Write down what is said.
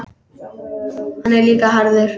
Hann er líka harður.